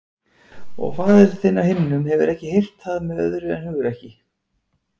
Og faðir þinn á himnum hefur ekki hert það með öðru en hugrekki.